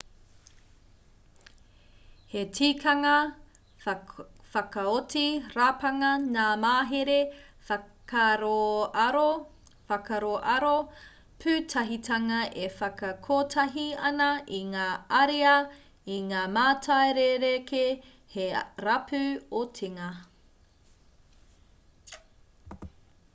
he tikanga whakaoti rapanga ngā mahere whakaaroaro pūtahitanga e whakakotahi ana i ngā ariā i ngā mātai rerekē hei rapu otinga